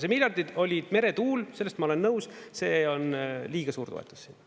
See miljardid olid meretuul, selles ma olen nõus, see on liiga suur toetus sinna.